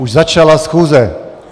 Už začala schůze!